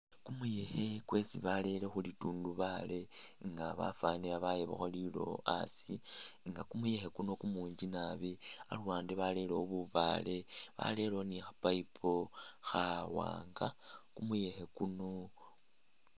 Kumuyekhe kwesi barele khulitundubaali nga bafanile babayabakho lilowo asi nga kumuyekhe kuno kumunji naabi, aluwande barelewo bubaale, barelewo ne kha pipe khawanga, kumuyekhe kuno..